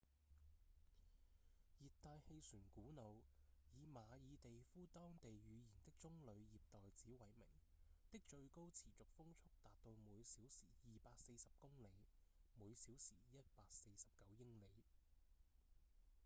熱帶氣旋古努以馬爾地夫當地語言的棕梠葉袋子為名的最高持續風速達到每小時240公里每小時149英里